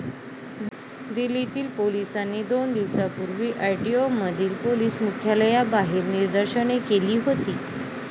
दिल्लीतील पोलिसांनी दोन दिवसांपूर्वी आयटीओमधील पोलिस मुख्यालयाबाहेर निदर्शने केली होती.